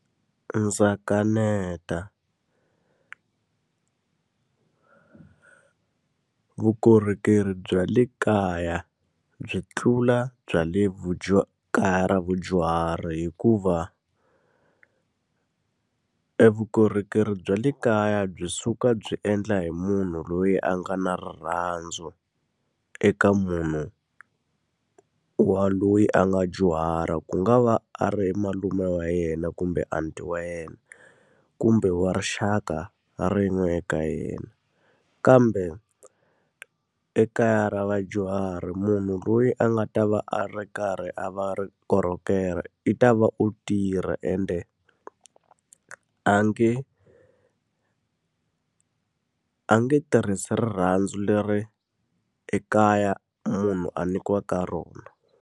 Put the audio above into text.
Ndza kaneta vukorhokeri bya le kaya byi tlula bya le vadyuhari hikuva e vukorhokeri bya le kaya byi suka byi endla hi munhu loyi a nga na rirhandzu eka munhu wa loyi a nga dyuhala. Ku nga va a ri malume wa yena, kumbe aunty-i wa yena, kumbe wa rixaka rin'we eka yena. Kambe ekaya ra vadyuhari munhu loyi a nga ta va a ri karhi a va ri korhokela, i ta va o tirha ende a nge a nge tirhisi rirhandzu leri ekaya munhu a nyikiwaka rona.